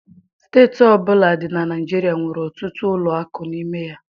Steeti ọbụla dị na Naịjirịa nwere ọtụtụ ụlọ akụ n'ime ya